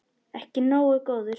Ekki nógu góður!